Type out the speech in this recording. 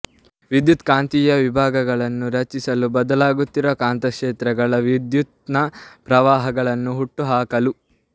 ವಿದ್ಯುತ್ ಕಾಂತೀಯ ವಿಭಾಗಗಳನ್ನು ರಚಿಸಲು ಬದಲಾಗುತ್ತಿರುವ ಕಾಂತಕ್ಷೇತ್ರಗಳ ವಿದ್ಯುತ್ತಿನ ಪ್ರವಾಹಗಳನ್ನು ಹುಟ್ಟುಹಾಕಲು